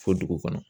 Fo dugu kɔnɔ